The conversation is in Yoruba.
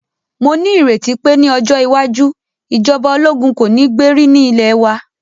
Mó ní ìrètí pé ní ọjọ́ iwájú, ìjọba ológun kò ní gbé rí ní ilẹ̀ wa.